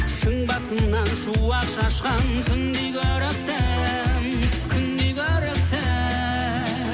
шың басынан шуақ шашқан күндей көріктім күндей көріктім